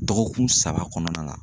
Dɔgɔkun saba kɔnɔna la.